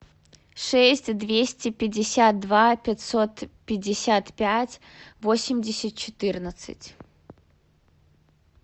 шесть двести пятьдесят два пятьсот пятьдесят пять восемьдесят четырнадцать